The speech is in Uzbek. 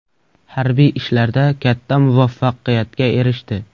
Harbiy ishlarda katta muvaffaqiyatga erishdi.